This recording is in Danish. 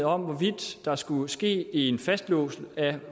om hvorvidt der skulle ske en fastlåsning af